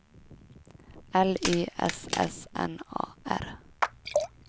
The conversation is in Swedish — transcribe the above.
L Y S S N A R